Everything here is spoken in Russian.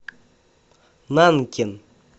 нанкин